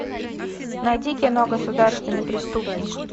найди кино государственный преступник